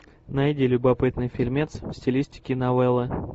найди любопытный фильмец в стилистике новелла